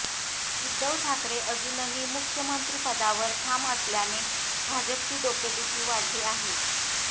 उद्धव ठाकरे अजूनही मुख्यमंत्रिपदावर ठाम असल्याने भाजपची डोकेदुखी वाढली आहे